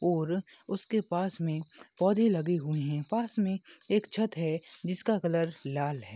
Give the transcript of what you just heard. और उसके पास मे पौधे लगे हुए है पास मे एक छत है जिसका कलर लाल है।